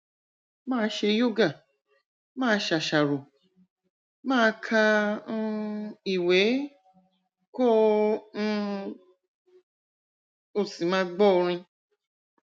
máa ṣe yoga máa ṣàṣàrò máa ka um ìwé kó um o sì máa gbọ orin